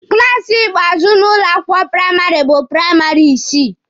klaasi ikpeazụ n'ụlọ akwụkwọ praịmarị bụ praịmarị isii.